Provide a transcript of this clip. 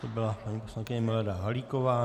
To byla paní poslankyně Milana Halíková.